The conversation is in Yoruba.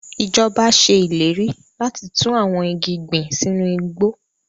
Ijọba ṣe ileri lati tun awọn igi gbin sinu igbo